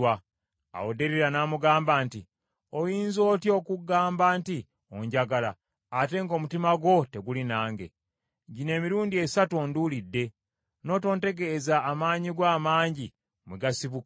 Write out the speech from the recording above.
Awo Derira n’amugamba nti, “Oyinza otya okugamba nti onjagala, ate ng’omutima gwo teguli nange? Gino emirundi esatu onduulidde, n’otontegeeza amaanyi go amangi mwe gasibuka.”